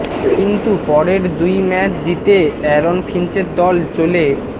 কিন্তু পরের দুই ম্যাচ জিতে অ্যারন ফিঞ্চের দল চলে